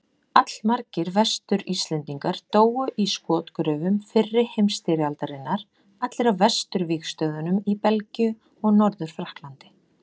Allmargir Vestur-Íslendingar dóu í skotgröfum fyrri heimsstyrjaldarinnar, allir á vesturvígstöðvunum í Belgíu og Norður-Frakklandi.